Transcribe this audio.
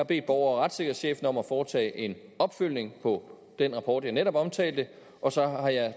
bedt borger og retssikkerhedschefen om at foretage en opfølgning på den rapport jeg netop omtalte og så har jeg